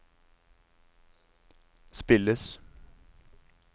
spilles